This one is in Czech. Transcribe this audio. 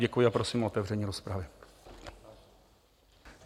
Děkuji a prosím o otevření rozpravy.